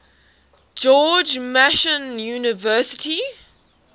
george mason university